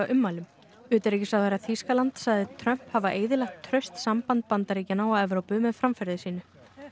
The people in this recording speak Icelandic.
ummælum utanríkisráðherra Þýskalands sagði Trump hafa eyðilagt traust samband Bandaríkjanna og Evrópu með framferði sínu